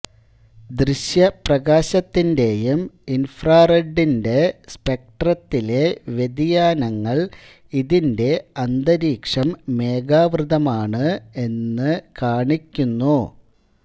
ദൃശ്യപ്രകാശത്തിന്റെയും ഇൻഫ്രാറെഡിന്റെ സ്പെക്ട്രത്തിലെ വ്യതിയാനങ്ങൾ ഇതിന്റെ അന്തരീക്ഷം മേഖാവൃതമാണ് എന്നു കാണിക്കുന്നു